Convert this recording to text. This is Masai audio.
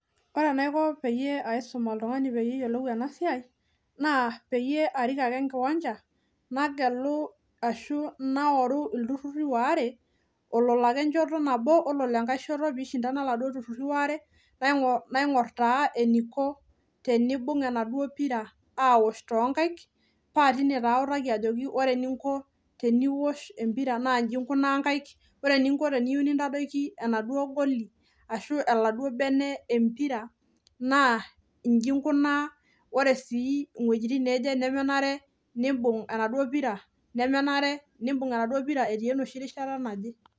Ore enaiko peyie aisum altungani peyie eyiolou ena siaai, naa paarik ake enkwanja nagelu ashu nairuu olturrurri waare ololo ake enchoto nabo ololo enkae piishindana laduoo turrurri waare naigorr taa eniko tenibung enaduoo pira aosh toonkaik paa tine taa aotaki taa ajo ore eniko teneisho epira nas iji inkunaa nkaik, ore eniko tenitadoiki enaduoo goli ashu enaduoo bene epira naa iji inkunaa oree sii iwejitin nemenaree nibug enaduoo pira nemenaree nibug enaduoo pira etii enoshii rishata naje.